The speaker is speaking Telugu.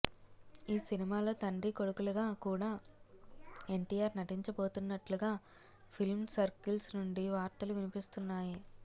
ఈ సినిమాలో తండ్రి కొడుకులుగా కూడా ఎన్టీఆర్ నటించబోతున్నట్లుగా ఫిల్మ్ సర్కిల్స్ నుండి వార్తలు వినిపిస్తున్నాయి